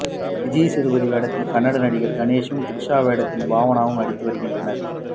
விஜய்சேதுபதி வேடத்தில் கன்னட நடிகர் கணேஷும் த்ரிஷா வேடத்தில் பாவனாவும் நடித்து வருகின்றனர்